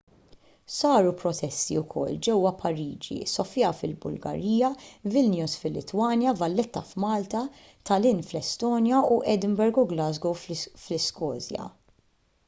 saru protesti wkoll ġewwa pariġi sofia fil-bulgarija vilnius fil-litwanja valletta f'malta tallinn fl-estonja u edinburgh u glasgow fl-iskozja